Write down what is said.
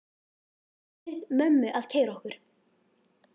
Ég bið mömmu að keyra okkur.